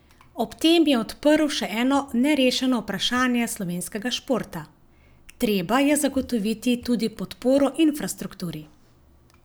Ob tem je odprl še eno nerešeno vprašanje slovenskega športa: "Treba je zagotoviti tudi podporo infrastrukturi.